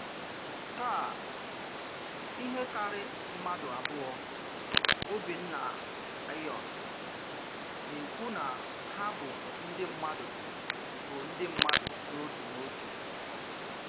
Tàà, ìhè kárí mmádụ̀ àbùọ̀ Ọ́bìnnàịọ̀n nà-ekwù nà hà bụ̀ ndị́ mmádụ̀ bụ̀ ndị́ mmádụ̀ n’òtù n’òtù.